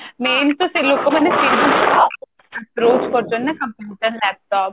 main ତ ସେ ଲୋକମାନେ computer laptop